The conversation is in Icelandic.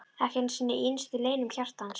Ekki einu sinni í innstu leynum hjartans!